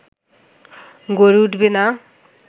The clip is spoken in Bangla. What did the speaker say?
গড়ে উঠবে না